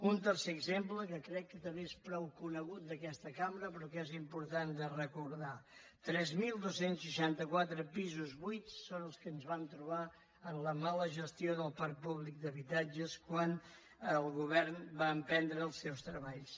un tercer exemple que crec que també és prou conegut d’aquesta cambra però que és important de recordar tres mil dos cents i seixanta quatre pisos buits són els que ens vam trobar amb la mala gestió del parc públic d’habitatges quan el govern va emprendre els seus treballs